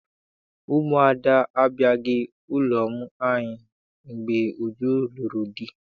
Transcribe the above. Ndị umuada abịaghị n'ụlọ anyị mgbe Uju lụrụ di